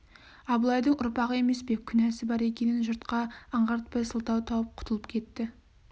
абылайдың ұрпағы емес пе күнәсі бар екенін жұртқа аңғартпай сылтау тауып құтылып кетті